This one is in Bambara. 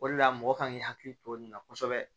O de la mɔgɔ kan k'i hakili to nin na kosɛbɛ